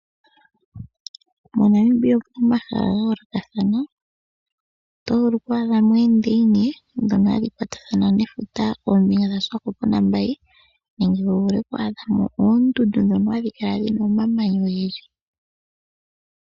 Monamibia omuna omahala ga yoolokathana. Otovulu oku adhamo oondeyina ndhono hadhi kwatathana nefuta nomeya ga Swakopmund no Walvis, nenge tovulu oku adhamo oondundu ndhono hadhi kala dhima omamanya.